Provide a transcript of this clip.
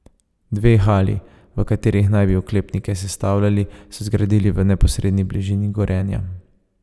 Dve hali, v katerih naj bi oklepnike sestavljali, so zgradili v neposredni bližini Gorenja.